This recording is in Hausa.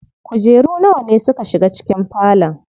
Kujeru nawa ne suka shiga cikin falon?